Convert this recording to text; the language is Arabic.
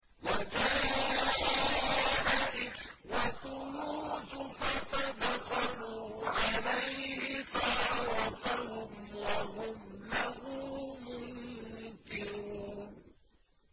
وَجَاءَ إِخْوَةُ يُوسُفَ فَدَخَلُوا عَلَيْهِ فَعَرَفَهُمْ وَهُمْ لَهُ مُنكِرُونَ